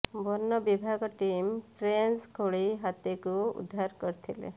ବନ ବିଭାଗ team trench ଖୋଳି ହାତୀକୁ ଉଦ୍ଧାର କରିଥିଲେ